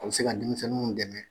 O be se ka denmisɛnninw dɛmɛ